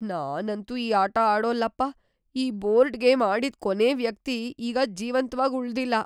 ನಾನಂತೂ ಈ ಆಟ ಆಡೋಲ್ಲಪ್ಪ. ಈ ಬೋರ್ಡ್ ಗೇಮ್ ಆಡಿದ್ ಕೊನೇ ವ್ಯಕ್ತಿ ಈಗ ಜೀವಂತ್ವಾಗ್‌ ಉಳ್ದಿಲ್ಲ.